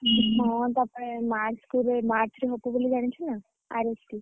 ହଁ ତାପରେ March March ରେ ହବ ବୋଲି ଜାଣିଚୁନା RSC ।